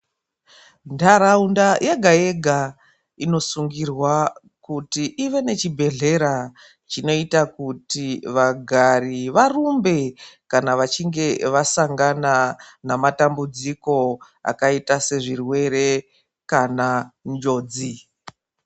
Ntaraunda yegayega inosungirwa kuti ive nechibhedhlera chinoita kuti vagari varumbe kana vasanga nematambudziko akaita sezvirwere kana njodzi.